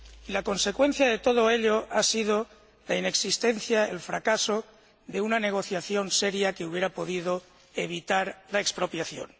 La consecuencia de todo ello ha sido la inexistencia, el fracaso de una negociación seria que hubiera podido evitar la expropiación.